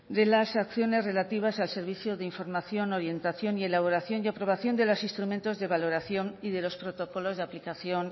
de las acciones relativas al servicio de información orientación y elaboración y aprobación de los instrumentos de valoración y los protocolos de aplicación